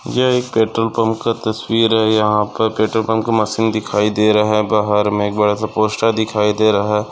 यह एक petrol pump का तस्वीर है यहा पर पेट्रोल पंप का मशीन दिखाई दे रहा बाहर मे एक बड़ासा पोस्टर दिखाई दे रहा।